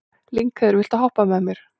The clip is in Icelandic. Lyngheiður, viltu hoppa með mér?